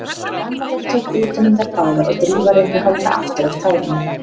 Amma þeirra tók utan um þær báðar og Drífa reyndi að halda aftur af tárunum.